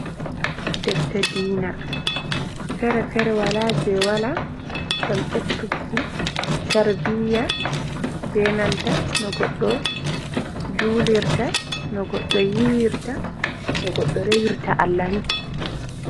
Defte diina fere fere wala je wala, ngam eb turki tarbiya, benanta no goɗɗo julirta, no goɗɗo yiwirta, no goɗɗo rewirta Allah ni.